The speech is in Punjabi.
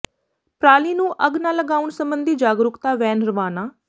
ਪਰਾਲੀ ਨੂੰ ਅੱਗ ਨਾ ਲਗਾਉਣ ਸਬੰਧੀ ਜਾਗਰੂਕਤਾ ਵੈਨ ਰਵਾਨਾ